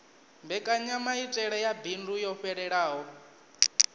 mbekanyamaitele ya bindu yo fhelelaho